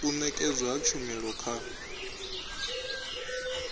u nekedzwa ha tshumelo kha